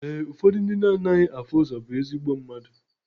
Ee, ụfọdụ ndị na anaghị afụ ụzọ bụ ezigbo mmadụ.